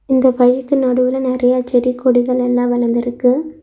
இந்த வழிக்கு நடுவுல நெறைய செடி கொடிகள் எல்லா வளந்துருக்கு.